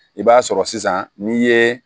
I b'a sɔrɔ sisan n'i ye